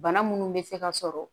Bana munnu bɛ se ka sɔrɔ